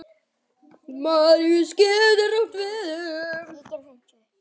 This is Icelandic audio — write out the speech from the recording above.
Maríus getur átt við um